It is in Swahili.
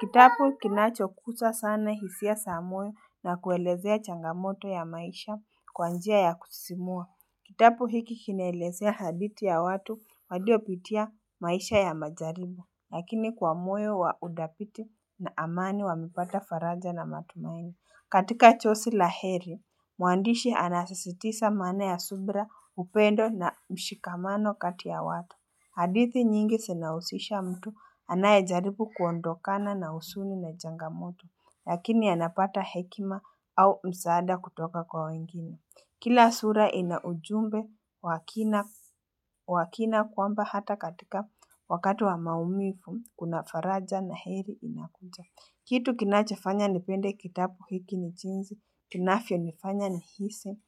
kitapu kinacho kusa sana hisia sa moyo na kuelezea changamoto ya maisha kwa njia ya kusisimua Kitapu hiki kinaelezea haditi ya watu waliopitia maisha ya majaribu Lakini kwa moyo wa udhapiti na amani wa kupata faranja na matumaini katika chosi la heri, muandishi anasasitisa maana ya subra upendo na mshikamano kati ya watu. Hadithi nyingi sinahusisha mtu anayajaripu kuondokana na usuni na changamoto, lakini anapata hekima au msaada kutoka kwa wengine. Kila sura ina ujumbe wa kina kwamba hata katika wakati wa maumivu kuna faraja na heri inakuja. Kitu kinachafanya nipende kitapu hiki ni chinzi, inafyonifanya nihisi,